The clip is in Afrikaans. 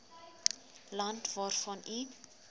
land waarvan u